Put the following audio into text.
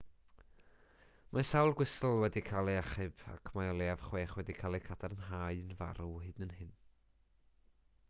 mae sawl gwystl wedi cael eu hachub ac mae o leiaf chwech wedi cael eu cadarnhau'n farw hyd yn hyn